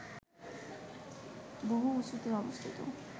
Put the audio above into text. বহু উঁচুতে অবস্থিত